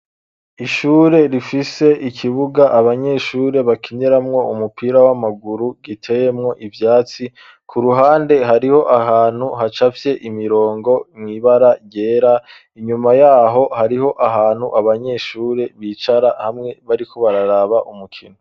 Ishure, rifise ikibuga, abanyeshure bakiniramwo, umupira w'amaguru, giteyemwo ivyatsi; ku ruhande, hariho ahantu, hacafye imirongo, mw'ibara ryera; inyuma y'aho, hariho ahantu, abanyeshure bicara, hamwe, bariko bararaba, umukino.